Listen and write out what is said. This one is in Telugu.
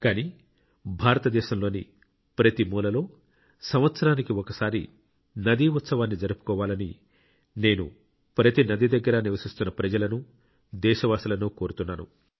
కానీ భారతదేశంలోని ప్రతి మూలలో సంవత్సరానికి ఒకసారి నదీ ఉత్సవాన్ని జరుపుకోవాలని నేను ప్రతి నది దగ్గర నివసిస్తున్న ప్రజలను దేశ వాసులను కోరుతున్నాను